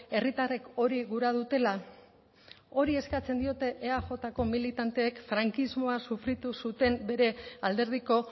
herritarrek hori gura dutela hori eskatzen diote eajko militanteek frankismoa sufritu zuten bere alderdiko